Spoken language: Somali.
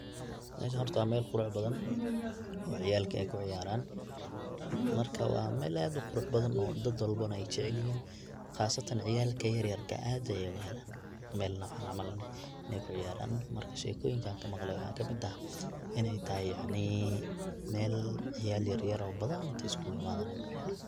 Meshan horta wa meel qurux badan oo ciyalka kuciyaran marka wa meel aad uqurux badan oo dad walbana ey jecelyihin qasatan ciyalka yaryarka ah aad ayey ogahelan meel nocan cml in ey kuciyaran marka shekoyinka an kamaqle waxa kamid ah in tahay yacni meel ciyal yaryar oo badan intey iskuguimadan.